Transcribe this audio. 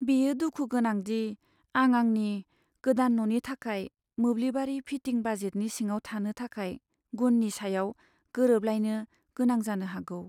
बेयो दुखु गोनां दि आं आंनि गोदान न'नि थाखाय मोब्लिबारि फिटिं बाजेटनि सिङाव थानो थाखाय गुननि सायाव गोरोबलायनो गोनां जानो हागौ।